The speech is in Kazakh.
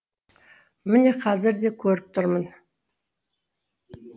міне қазір де көріп тұрмын